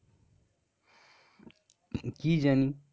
কি জানি?